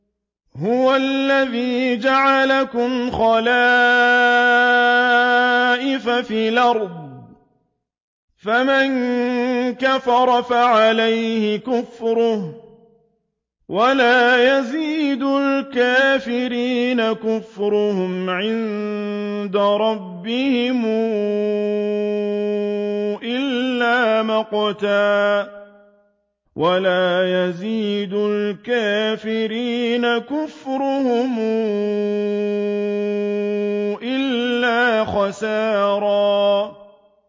هُوَ الَّذِي جَعَلَكُمْ خَلَائِفَ فِي الْأَرْضِ ۚ فَمَن كَفَرَ فَعَلَيْهِ كُفْرُهُ ۖ وَلَا يَزِيدُ الْكَافِرِينَ كُفْرُهُمْ عِندَ رَبِّهِمْ إِلَّا مَقْتًا ۖ وَلَا يَزِيدُ الْكَافِرِينَ كُفْرُهُمْ إِلَّا خَسَارًا